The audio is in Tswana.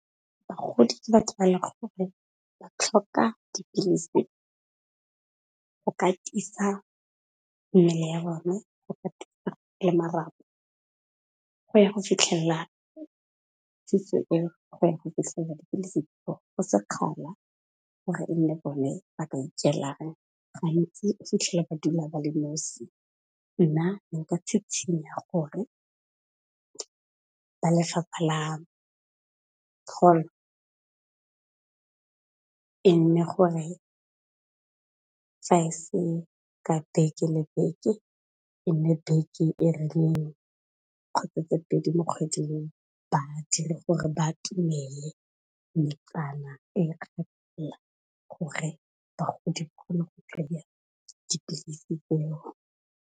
Bagodi ke batho ba le gore ba tlhoka dipilisi ho ka tisa mmele ya bone, go ka tisa le marapo ho ya ho fitlhella go ya go fitlhela dipilisi ho sekgala gore e nne bone ba ka ikelang gantsi o fitlhele ba dula ba le nosi. Nna nka tšhitšhinya gore ba lefapha la , e nne gore le ha se ka beke le beke, e nne beke e rileng kgotsa tse pedi mo kgwedi, ba dire gore ba atomele metsana e gore bagodi ba kgone go kry-iya dipilisi tseo.